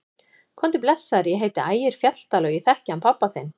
Komdu blessaður, ég heiti Ægir Fjalldal og ég þekki hann pabba þinn!